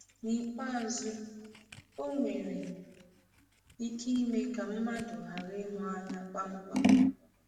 N’ikpeazụ, ọ nwere ike ime ka mmadụ ghara ịhụ anya kpamkpam.